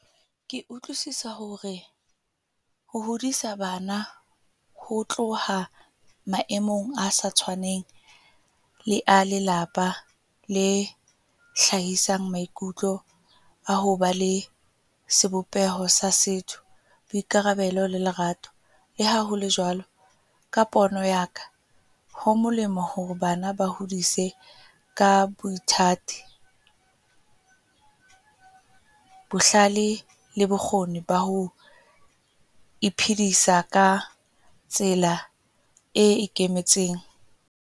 Ke utlwisisa hore, ho hodisa bana ho tloha maemong a sa tshwaneng le a lelapa le hlahisang maikutlo a ho ba le sebopeho sa setho, boikarabelo le lerato. Le ha ho le jwalo ka pono yaka, ho molemo hore bana ba hodise ka boithati, bohlale le bokgoni ba ho iphedisa ka tsela e ikemetseng.